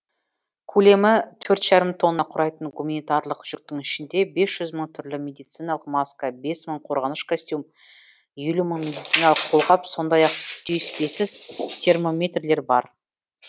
көлемі төрт жарым тонна құрайтын гуманитарлық жүктің ішінде бес жүз мың түрлі медициналық маска бес мың қорғаныш костюм елу мың медициналық қолғап сондай ақ түйіспесіз термометрлер бар